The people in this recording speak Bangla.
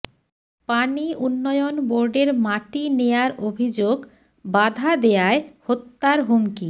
পানি উন্নয়ন বোর্ডের মাটি নেয়ার অভিযোগ বাধা দেয়ায় হত্যার হুমকি